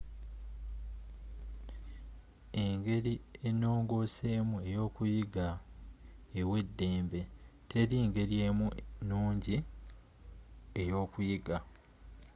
engeri enongooseemu eyookuyiga ewa eddembe teri ngeri emu ennungi eyokuyiga